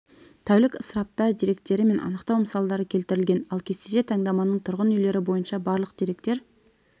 тәулік ысыраптар деректері мен анықтау мысалы келтірілген ал кестеде таңдаманың тұрғын үйлері бойынша барлық деректер